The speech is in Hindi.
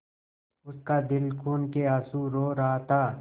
उसका दिल खून केआँसू रो रहा था